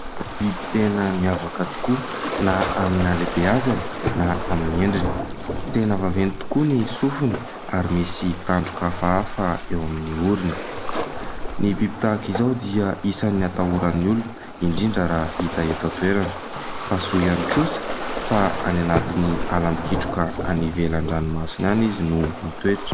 biby tena miavaka tokoa na amin'ny hahalehibeazana na amin'ny endriny ,tena vaveny tokoa ny sofiny ary misy tandroka hafahaafa eo amin'ny orony; ny biby tahaka izao dia isany hatahoran'ny olona indrindra raha hita eto an-toerana fa soa ihany kosa fa any anatin'ny ala mikitroka any ivelan-dranomasina any izy no mitoetra